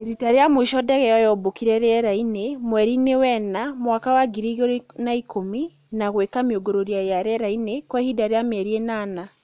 Rita rĩa mũico ndege ĩyo yombũkire rĩera-inĩ mweri-inĩ wa ĩna mwaka wa ngiri igĩrĩ na ikũmi na gwĩka mĩũngũrũrio ya rĩera-inĩ kwa ihinda rĩa mĩeri ĩnana